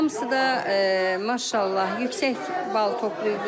Hamısı da maşallah yüksək bal toplayıblar.